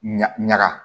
Ɲa ɲaga